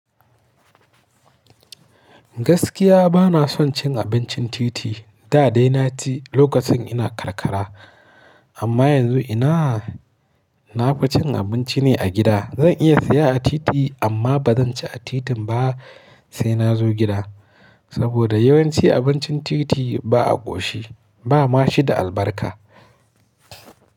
Gaskiya bana son cin abincin titi. Da dai na ci lokacin ina karkara, amma yanzu ina nafa cin abinci ne a gida. Zan iya siya a titi amma ba zan ci a titin ba sai na zo gida. Saboda yawanci abincin titi ba a ƙoshi, ba ma shi da albarka.